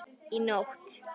Í nótt?